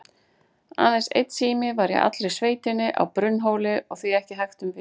Aðeins einn sími var í allri sveitinni, á Brunnhóli, og því ekki hægt um vik.